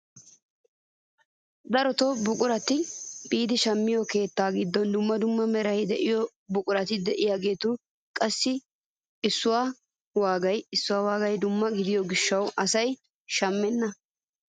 Darotoo buqurata biidi shammiyoo keettaa giddon dumma dumma meraara de'iyaa buqurati de'iyaagetu gatee issuwaage issuwaage dumma gidiyoo gishshawu asay shammenna!